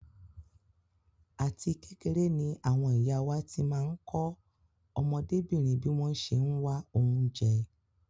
Àti kékeré ni àwọn ìyá wá ti máa ń kọ́ ọmọdébìnrin bí wọ́n ṣe ń wá oúnjẹ.